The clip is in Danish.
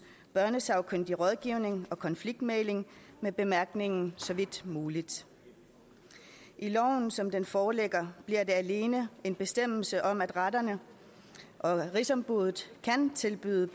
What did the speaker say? børnesagkyndig rådgivning og konfliktmægling med bemærkningen så vidt muligt i loven som den foreligger bliver det alene en bestemmelse om at retterne og rigsombuddet kan tilbyde